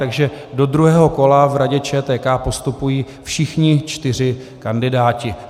Takže do druhého kola v Radě ČTK postupují všichni čtyři kandidáti.